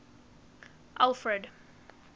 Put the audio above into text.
alfred